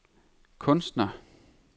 kunstner